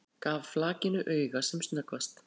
Gaf flakinu auga sem snöggvast.